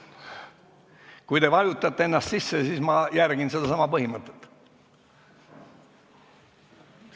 Kui te vajutate ennast sisse, siis ma järgin sedasama põhimõtet.